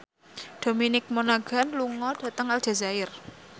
Dominic Monaghan lunga dhateng Aljazair